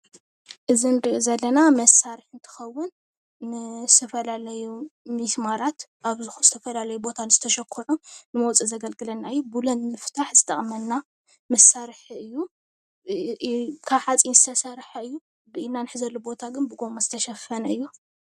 እዚ ንርእዮ ዘለና መሳርሒ እንትከውን ንዝተፈላለዩ ሜስማራት አብ ዝተፈላለዩ ቦታ ንዝተሸኩዑ መዉፅኢ ዘገልግለና እዪ ቡለን ንምፍታሕ ዝጠቅመና መሳርሒ እዩ ካብ ሓፂን ዝተሰርሐ እዩ ብኢድና እንሕዘሉ ቦታ ግን ብጎማ ዝተሽፈነ እዩ።